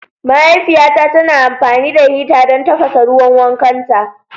Mahaifiyata tana amfani da hita don tafasa ruwan wankanta.